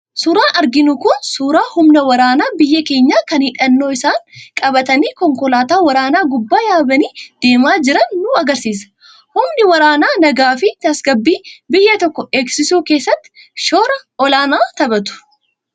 Suuraan arginu kun suuraa humna waraanaa biyya keenyaa kan hidhannoo isaanii qabatanii konkolaataa waraanaa gubbaa yaabanii deemaa jiran nu argisiisa. Humni waraanaa nagaafi tasgabbii biyya tokkoo eegsisuu keessatti shoora olaanaa taphata.